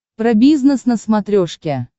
про бизнес на смотрешке